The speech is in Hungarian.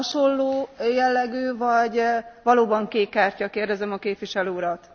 Hasonló jellegű, vagy valóban kék kártya kérdezem a képviselő urat.